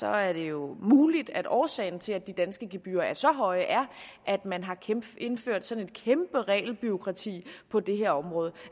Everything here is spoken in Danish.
er det jo muligt at årsagen til at de danske gebyrer er så høje er at man har indført sådan et kæmpe regelbureaukrati på det her område